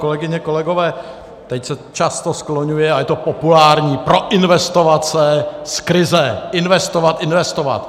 Kolegyně, kolegové, teď se často skloňuje a je to populární - proinvestovat se z krize, investovat, investovat.